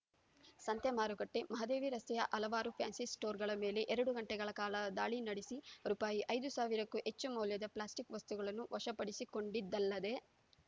ಸಂತೆ ಮಾರುಕಟ್ಟೆ ಮಹದೇವಿ ರಸ್ತೆಯ ಹಲವಾರು ಫ್ಯಾನ್ಸಿಸ್ಟೋರ್‌ಗಳ ಮೇಲೆ ಎರಡು ಗಂಟೆಗಳ ಕಾಲ ದಾಳಿ ನಡೆಸಿ ರೂಪಾಯಿ ಐದು ಸಾವಿರಕ್ಕೂ ಹೆಚ್ಚು ಮೌಲ್ಯದ ಪ್ಲಾಸ್ಟಿಕ್‌ ವಸ್ತುಗಳನ್ನು ವಶಪಡಿಸಿಕೊಂಡಿದ್ದಲ್ಲದೆ